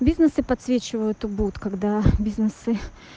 бизнес и подсвечивают убуд когда бизнесы